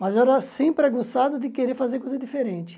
Mas eu era sempre aguçado de querer fazer coisa diferente.